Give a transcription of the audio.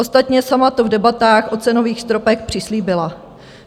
Ostatně sama to v debatách o cenových stropech přislíbila.